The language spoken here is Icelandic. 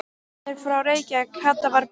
Hann er frá Reykjavík, Kata var byrst.